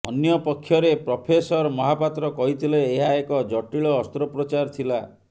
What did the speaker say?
ଅନ୍ୟପକ୍ଷରେ ପ୍ରଫେସର ମହାପାତ୍ର କହିଥିଲେ ଏହା ଏକ ଜଟିଳ ଅସ୍ତ୍ରୋପଚାର ଥିଲା